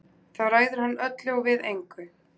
Þá ræður hann öllu og við engu.